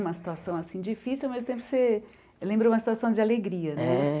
Uma situação assim difícil, mas sempre você lembra uma situação de alegria, né? É